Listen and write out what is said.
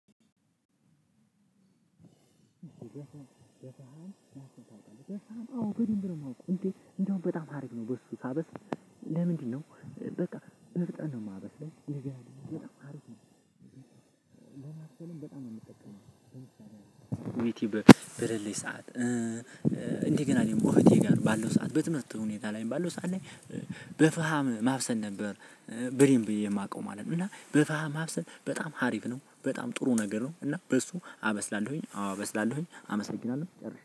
አዎ በደንብ ነው የማውቀው እንዴ? በጣም ሀሪፍ ነው በሱ ሳበስ። ለምንድነው? በቃ መፍጠር ነው ማበስለው በጣም ሀሪፍ ነው። እንደው አርሰልም በጣም ነው የምትጠቀመው ዩቲዩብ ብለልሽ ሰዓት። እንዴ ገና እኔም እህቴ ጋር ባለው ሰዓት በትምህርት ሁኔታ ላይ ባለው ሰዓት ላይ በፍሃም ማብሰን ነበር። በደንብ የማውቀው ማለት ነው እና በፍሃም ማብሰል በጣም ሀሪፍ ነው በጣም ጥሩ ነገር ነው። እና በሱ አመስላለሁኝ አዎ አመስላለሁኝ አመሰግናለሁ።